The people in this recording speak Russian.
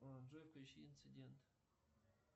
джой включи инцидент